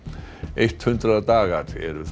eitt hundrað dagar eru